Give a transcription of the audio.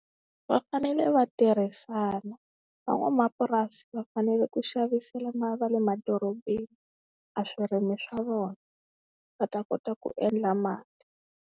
Va fanele va tirhisana, van'wamapurasi va fanele ku xavisela ma va le madorobeni a swirimi swa vona va ta kota ku endla mali.